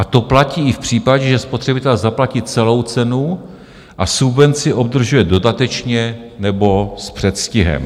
A to platí i v případě, že spotřebitel zaplatí celou cenu a subvenci obdrží dodatečně nebo s předstihem.